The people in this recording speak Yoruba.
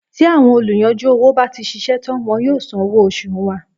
Tí àwọn olùyanjú owó bá ti ṣiṣẹ́ tán wọn yóò san owó oṣù wa.